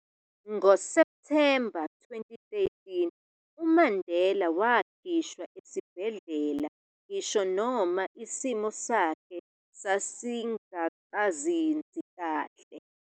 NgoSeptemba 2013, uMandela wakhishwa esibhedlela, ngisho noma isimo sakhe sasingakazinzi kahle.